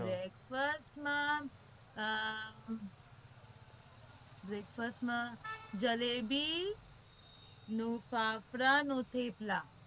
breakfast માં જલેબી ના થેપલા ના ફાફડા